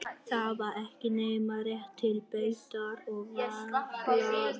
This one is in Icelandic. Það var ekki nema rétt til beitar og varla það.